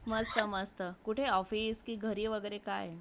मस्त , मस्त ,कुठे office कि घरी वागेरे कि काय